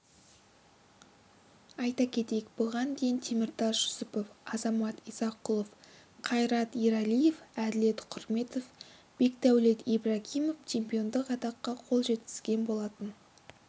айта кетейік бұған дейін теміртас жүсіпов азамат исақұлов қайрат ералиев әділет құрметов бекдәулет ибрагимов чемпиондық атаққа қол жеткізген болатын